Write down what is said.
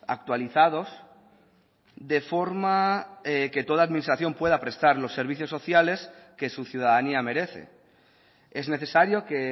actualizados de forma que toda administración pueda prestar los servicios sociales que su ciudadanía merece es necesario que